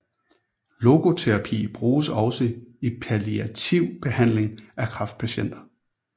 Logoterapi bruges også i palliativ behandling af kræftpatienter